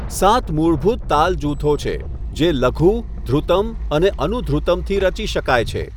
સાત મૂળભૂત તાલ જૂથો છે જે લઘુ, ધૃતમ અને અનુધૃતમથી રચી શકાય છે.